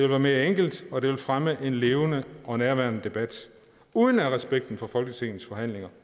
være mere enkelt og det ville fremme en levende og nærværende debat uden at respekten for folketingets forhandlinger